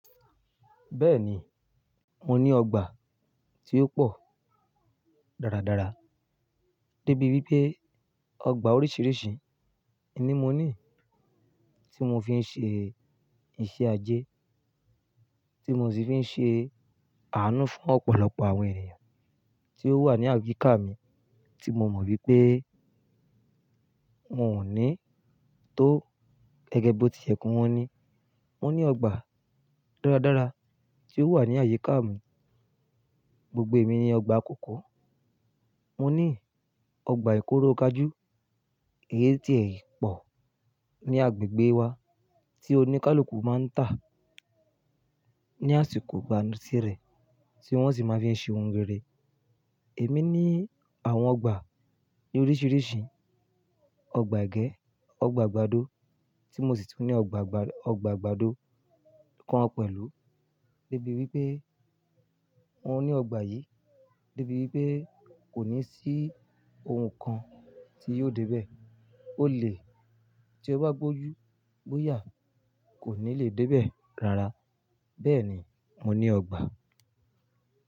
Bẹ́ẹ̀ni, mo ní ọgbà tí ó pọ̀ dáradára débi wípé ọgbà oríṣiríṣi ni mo ní tí mo fi ń ṣe iṣẹ́ ajé, tí mo sì ń fi ṣe àánú fún ọ̀pọ̀lọpọ̀ àwọn ènìyàn tí ó wà ní àyíká mi tí mo mọ̀ wípé wọn ò ní tó gẹ́gẹ́ bó ti yẹ kó wọn ní. Mo ní ọgbà dáradára tí ó wà ní àyíká mi, gbogbo èmi ni ọgbà kòkó. Mo ní ọgbà ìkóro kajú, èyí tí ẹ̀ yìí pọ̀ ní agbègbè wa tí oníkálukú máa ń tà ní àsìkò ìgbánisírẹ̀ tí wọ́n sì máa ń fi ṣe ohun rere. Èmi ní àwọn ọgbà ní oríṣiríṣi, ọgbà ẹbẹ́, ọgbà àgbàdo tí mo sì tún ní ọgbà àgbàdo kan pẹ̀lú. Débi wípé wọn ní ọgbà yìí, débi wípé kò ní sí ohun kan tí yóò dé bẹ́ẹ̀. Ólè tí ó bá gbójú-gbóyà kò ní lè dé bẹ́ẹ̀ rárá. Bẹ́ẹ̀ni, mo ní ọgbà.